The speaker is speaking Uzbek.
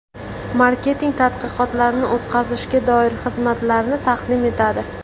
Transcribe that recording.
Marketing tadqiqotlarini o‘tkazishga doir xizmatlarni taqdim etadi.